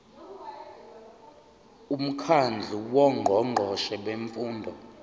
umkhandlu wongqongqoshe bemfundo